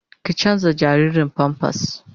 Ki canza jaririn "pampers "